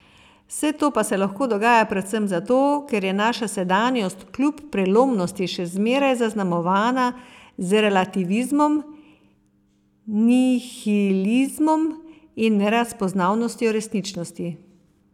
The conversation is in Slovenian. Vse to pa se lahko dogaja predvsem zato, ker je naša sedanjost kljub prelomnosti še zmeraj zaznamovana z relativizmom, nihilizmom in nerazpoznavnostjo resničnosti.